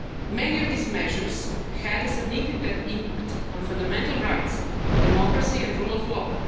the citizens. Many of these measures had a significant impact on fundamental rights, democracy and the